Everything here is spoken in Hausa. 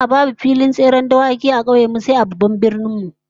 A'a, babu filin tseren dawaki a kauyen mu sai a babban birnin mu